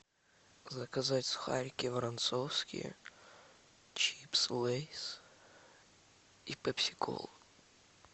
заказать сухарики воронцовские чипсы лейс и пепси колу